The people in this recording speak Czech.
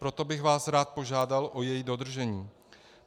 Proto bych vás rád požádal o její dodržení.